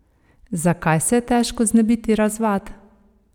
Zakaj se je težko znebiti razvad?